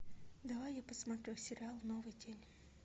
давай я посмотрю сериал новый день